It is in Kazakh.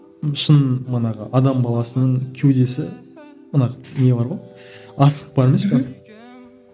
шын манағы адам баласының кеудесі мына не бар ғой асық бар емес пе